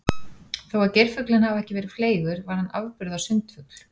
Þó að geirfuglinn hafi ekki verið fleygur var hann afburða sundfugl.